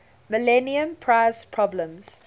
millennium prize problems